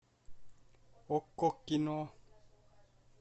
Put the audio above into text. окко кино